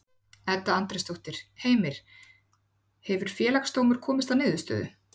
Edda Andrésdóttir: Heimir, hefur Félagsdómur komist að niðurstöðu?